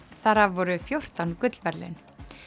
þar af voru fjórtán gullverðlaun